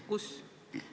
Kus?